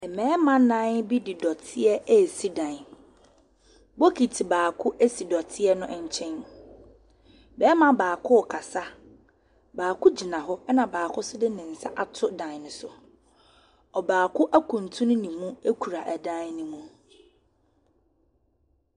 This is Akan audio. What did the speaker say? Ɛmɛɛma nan de dɔtiɛ eesi dan. Bokiti baako esi dɔteɛ no nkyɛn. Bɛɛma baako kasa, baako gyina hɔ ɛna baako de nensa ato dan no so. Ɔbaako ekuntru nemu ekura ɛdan ne mo.